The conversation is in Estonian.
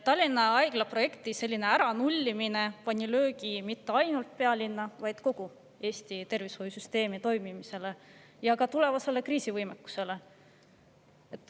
Tallinna Haigla projekti selline äranullimine andis löögi mitte ainult pealinna, vaid kogu Eesti tervishoiusüsteemi toimimisele ja ka tulevasele kriisivõimekusele.